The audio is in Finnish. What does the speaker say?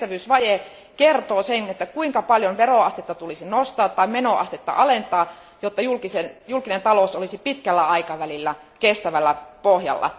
Kestävyysvaje kertoo sen, kuinka paljon veroastetta tulisi nostaa tai menoastetta alentaa, jotta julkinen talous olisi pitkällä aikavälillä kestävällä pohjalla.